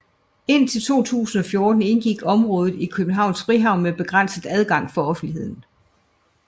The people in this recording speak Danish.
Indtil 2014 indgik området i Københavns Frihavn med begrænset adgang for offentligheden